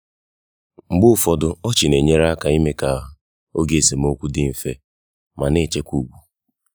mgbe ụfọdụ ọchị na-enyere aka ime ka oge esemokwu dị mfe ma na-echekwa ugwu.